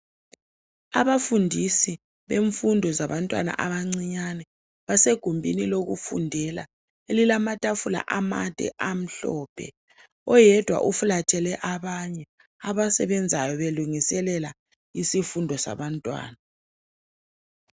Abafundisi bemfundo zabantwana abancinyane basegumbini lokufundela elilamatafula amade amhlophe oyedwa uflathele abanye abasebenzayo belungiselela isifundo sabantwana.